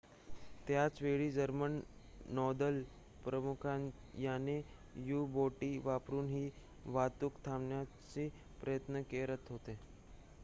त्याच वेळी जर्मन नौदल प्रामुख्याने यू-बोटी वापरुन ही वाहतूक थांबविण्याचा प्रयत्न करत होते